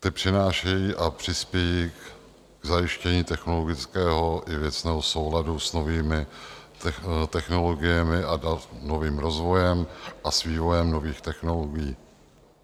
Ty přinášejí a přispějí k zajištění technologického i věcného souladu s novými technologiemi a novým rozvojem a s vývojem nových technologií.